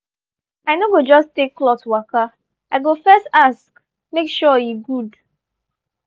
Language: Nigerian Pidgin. i no go just take cloth waka i go first ask make sure e good.